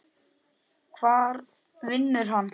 Hvar vinnur hann?